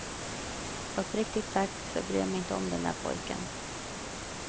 Uppriktigt sagt, så bryr jag mig inte om den där pojken.